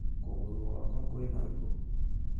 Kũgũrũgwakwa kwĩna ruo